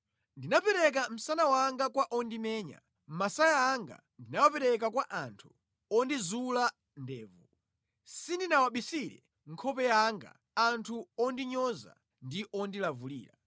Ndinapereka msana wanga kwa ondimenya masaya anga ndinawapereka kwa anthu ondizula ndevu; sindinawabisire nkhope yanga anthu ondinyoza ndi ondilavulira.